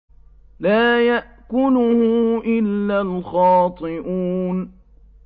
لَّا يَأْكُلُهُ إِلَّا الْخَاطِئُونَ